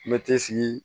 Mɛti sigi